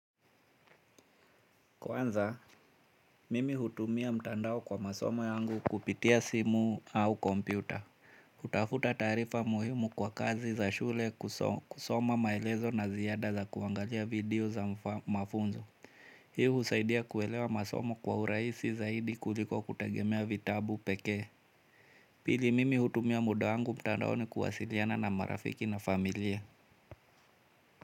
Kwanza, mimi hutumia mtandao kwa masoma yangu kupitia simu au kompyuta. Utafuta taarifa muhimu kwa kazi za shule kusoma maelezo na ziyada za kuangalia video za mafunzo. Hi husaidia kuelewa masomo kwa uraisi zaidi kuliko kutegemea vitabu pekee. Pili mimi hutumia muda wangu mtandaoni kuwasiliana na marafiki na familia.